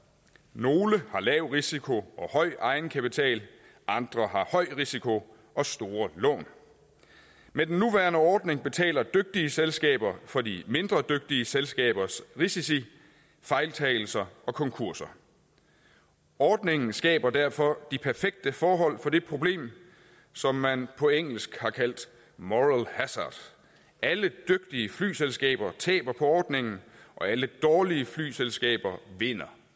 nogle har lav risiko og høj egenkapital andre har høj risiko og store lån med den nuværende ordning betaler dygtige selskaber for de mindre dygtige selskabers risici fejltagelser og konkurser ordningen skaber derfor de perfekte forhold for det problem som man på engelsk har kaldt moral hazard alle dygtige flyselskaber taber på ordningen og alle dårlige flyselskaber vinder